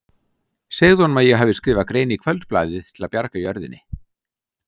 Segðu honum að ég hafi skrifað grein í Kvöldblaðið til að bjarga jörðinni.